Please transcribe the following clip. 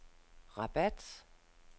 Rabat